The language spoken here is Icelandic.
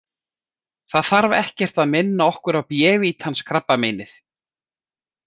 Það þarf ekkert að minna okkur á bévítans krabbameinið.